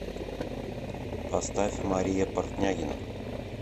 поставь мария портнягина